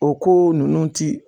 O ko ninnu ti